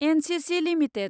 NCC limited